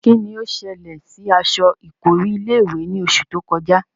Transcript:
Kín ni ó ṣẹlẹ̀ sí aṣọ ìkọ́rí ilé-ìwẹ̀ ní oṣù tí ó kọjá?